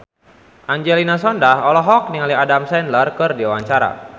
Angelina Sondakh olohok ningali Adam Sandler keur diwawancara